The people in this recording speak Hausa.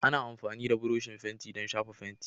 Ana amfani da burushin fenti don shafa fenti